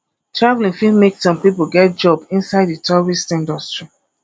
travelling fit make some pipo get job inside di tourist industry